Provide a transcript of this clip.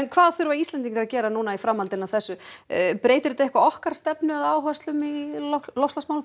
hvað þurfa Íslendingar að gera nú í framhaldinu af þessu breytir þetta eitthvað okkar stefnu eða áherslum í loftslagsmálum